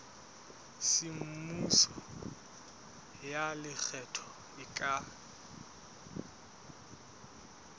semmuso ya lekgetho e ka